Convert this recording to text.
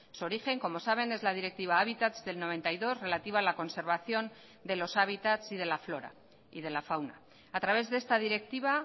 su origen como saben es la directiva hábitats del noventa y dos relativa a la conservación de los hábitats y de la flora y de la fauna a través de esta directiva